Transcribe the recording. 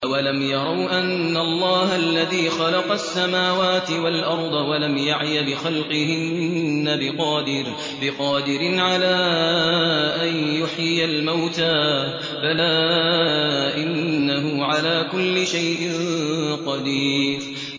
أَوَلَمْ يَرَوْا أَنَّ اللَّهَ الَّذِي خَلَقَ السَّمَاوَاتِ وَالْأَرْضَ وَلَمْ يَعْيَ بِخَلْقِهِنَّ بِقَادِرٍ عَلَىٰ أَن يُحْيِيَ الْمَوْتَىٰ ۚ بَلَىٰ إِنَّهُ عَلَىٰ كُلِّ شَيْءٍ قَدِيرٌ